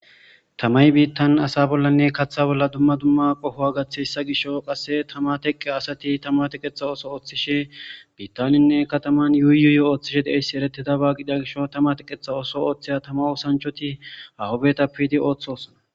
Tamayi bitan asa bolla duma duma qoha gatiyasa gishawu qasi tama teqiya asati tama teqeta oso otishe bitaninne kataman yuyi yuyi otishe dizayisa eretizaba gidiya gishawu tama teqeta oso otiya tama teqeto osanchati haho bitappe yiidi otosona